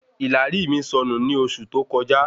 ìlàrí mi sọnù ni oṣù tó kọjá